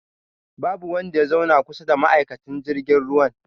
Babu wanda ya zauna kusa da ma'aikacin jirgin ruwan